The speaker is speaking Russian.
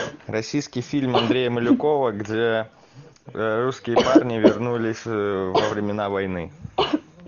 российский фильм андрея малюкова где русские парни вернулись во времена войны